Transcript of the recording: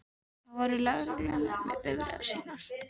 Þar voru lögreglumenn með bifreiðar sínar.